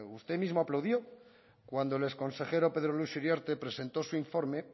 usted mismo aplaudió cuando el exconsejero pedro luis uriarte presentó su informe